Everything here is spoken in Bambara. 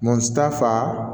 Mansa fa